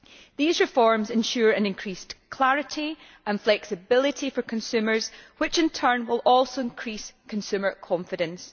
These reforms ensure increased clarity and flexibility for consumers, which, in turn, will also increase consumer confidence.